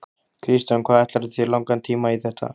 Kristján: Hvað ætlarðu þér langan tíma í þetta?